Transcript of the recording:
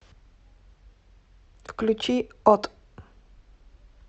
включи от